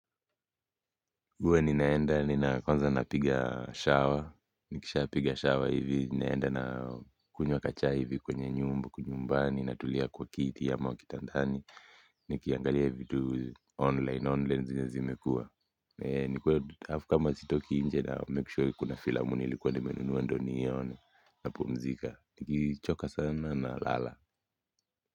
Huwa ninaenda, nina kwanza napiga shawa, nikisha piga shawa hivi, ninaenda na kunywa kachai hivi kwenye nyumba, nyumbani, natulia kwa kiti ya ama kitandani, nikiangalia vitu online, online zenye zimekuwa. Eee, nikuwe, hafu kama sitoki nje na make sure kuna filamu nilikuwa nimenunua ndo niione, napumzika, nikichoka sana nalala.